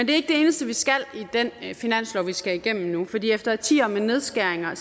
det eneste vi skal i den finanslov vi skal igennem nu for efter årtier med nedskæringer er